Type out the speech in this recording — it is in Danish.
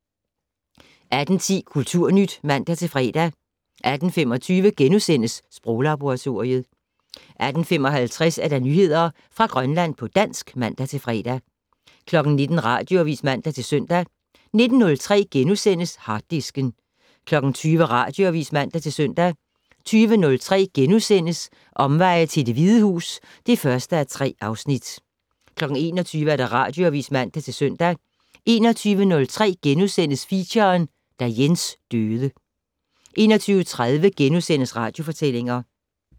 18:10: Kulturnyt (man-fre) 18:25: Sproglaboratoriet * 18:55: Nyheder fra Grønland på dansk (man-fre) 19:00: Radioavis (man-søn) 19:03: Harddisken * 20:00: Radioavis (man-søn) 20:03: Omveje til Det Hvide Hus (1:3)* 21:00: Radioavis (man-søn) 21:03: Feature: Da Jens døde * 21:30: Radiofortællinger *